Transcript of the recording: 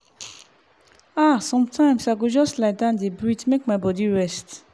ah sometimes i go just lie down dey breathe make my body rest.